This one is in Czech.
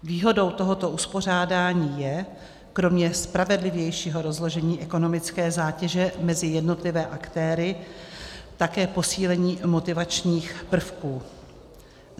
Výhodou tohoto uspořádání je, kromě spravedlivějšího rozložení ekonomické zátěže mezi jednotlivé aktéry, také posílení motivačních prvků.